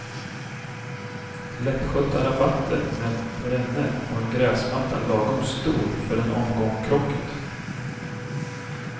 Lättskötta rabatter med perenner och en gräsmatta lagom stor för en omgång krocket.